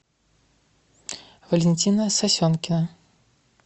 валентина сосенкина